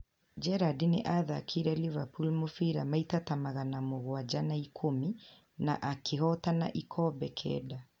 Gerrard nĩ aathakĩire Liverpool mũbira maita ta magana mũgwanja na ikũmi, na akĩhotana ikombe kenda.